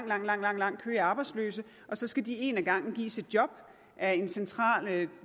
lang lang lang kø af arbejdsløse og så skal de en ad gangen gives et job af en central